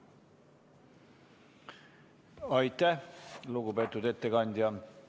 Aitäh, lugupeetud ettekandja!